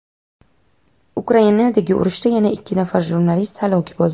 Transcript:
Ukrainadagi urushda yana ikki nafar jurnalist halok bo‘ldi.